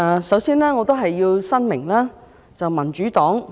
首先，我要申明民主黨的立場。